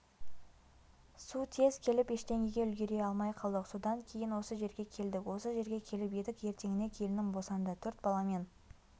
су тез келіп ештеңеге үлгере алмай қалдық содан кейін осы жерге келдік осы жерге келіп едік ертеңіне келінім босанды төрт баламен